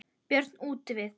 Björn útivið.